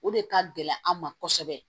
O de ka gɛlɛn an ma kosɛbɛ